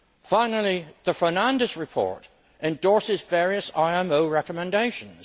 Finally, the Fernandes report endorses various IMO recommendations.